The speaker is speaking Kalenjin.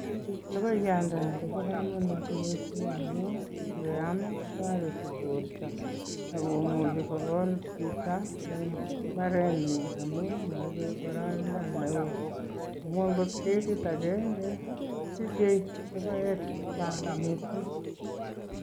Logoiyandani ko bo kamanut missing amu ngeam kotoreti borto, ako muchi kokol chito eng imbarennyi amu maibei boroindo ne ooh amu angot ketit agenge kosichei logoek che chang missing.